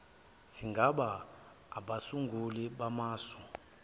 singaba abasunguli bamasu